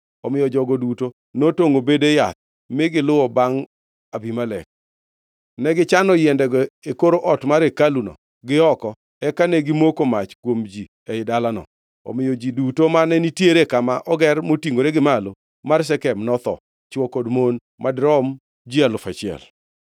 Omiyo jogo duto notongʼo bede yath mi giluwo bangʼ Abimelek. Negichano yiendego e kor ot mar hekaluno gi oko eka ne gimoko mach kuom ji ei dalano. Omiyo ji duto mane nitiere kama oger motingʼore gi malo mar Shekem notho, chwo kod mon madirom ji alufu achiel.